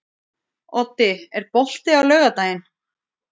Oddi, er bolti á laugardaginn?